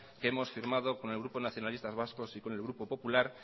que hemos firmado con el grupo nacionalistas vascos y con el grupo popular